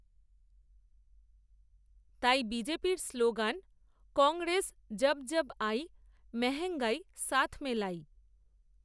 তাই বিজেপির স্লোগান, কংগ্রেস, যব যব আই, মেহঙ্গাই সাথ মে লাই